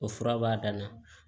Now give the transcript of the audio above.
O fura b'a dan na